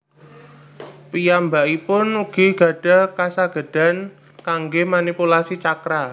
Piyambakipun ugi gadah kasagedan kangge manipulasi chakra